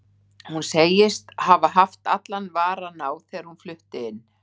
Hún segist hafa haft allan varann á þegar hún flutti inn.